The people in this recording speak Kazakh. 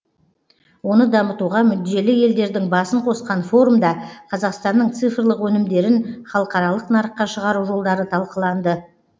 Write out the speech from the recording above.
оны дамытуға мүдделі елдердің басын қосқан форумда қазақстанның цифрлық өнімдерін халықаралық нарыққа шығару жолдары талқыланды